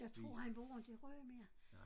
Jeg tror han bor inte i Rø mere